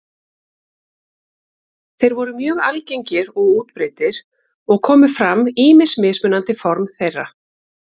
Þeir voru mjög algengir og útbreiddir og komu fram ýmis mismunandi form þeirra.